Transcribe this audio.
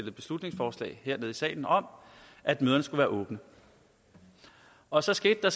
et beslutningsforslag hernede i salen om at møderne skulle være åbne og så skete der